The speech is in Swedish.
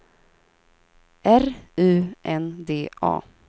R U N D A